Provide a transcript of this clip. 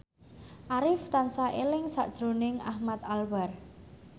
Arif tansah eling sakjroning Ahmad Albar